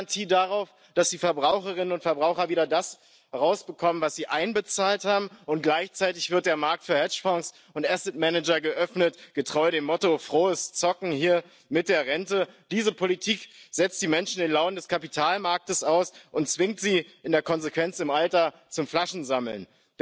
d'une mauvaise gestion, souvent à la limite des scandales, quand on regarde le niveau général des retraites en Europe ni le système privé, puisque la crise de 2008 a montré la gravité des dysfonctionnements des fonds de pension prédateurs. Alors, le nouveau monde